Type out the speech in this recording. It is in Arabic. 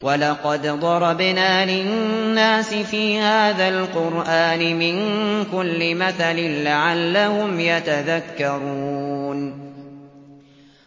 وَلَقَدْ ضَرَبْنَا لِلنَّاسِ فِي هَٰذَا الْقُرْآنِ مِن كُلِّ مَثَلٍ لَّعَلَّهُمْ يَتَذَكَّرُونَ